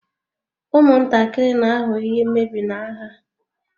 Ụmụntakịrị na-aghọ ihe mmebi n'agha